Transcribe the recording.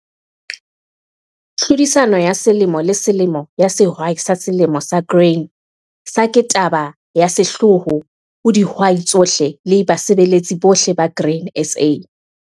TLHODISANO YA SELEMO LE SELEMO YA SEHWAI SA SELEMO SA GRAIN SA KE TABA YA SEHLOOHO HO DIHWAI TSOHLE LE BASEBELETSI BOHLE BA GRAIN SA.